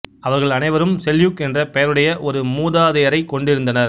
அவர்கள் அனைவரும் செல்யூக் என்ற பெயருடைய ஒரு மூதாதையரை கொண்டிருந்தனர்